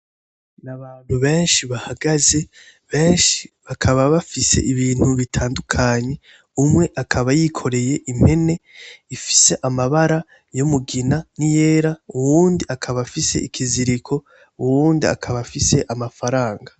Abantu benshi bahagaze benshi bakaba bafise ibintu bitandukanye, umwe akaba yikoreye impene ifise amabara y'umugina na yera uwundi akaba afise ikiziriko uyundi akaba afise amafaranga.